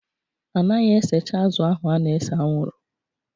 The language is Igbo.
A naghị esecha azụ̀ ahụ a na-ese anwụrụ